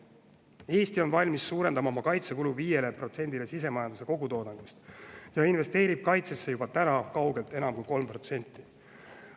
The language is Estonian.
Eesti on valmis suurendama oma kaitsekulu 5%-le sisemajanduse kogutoodangust ja investeerib kaitsesse juba täna kaugelt enam kui 3%.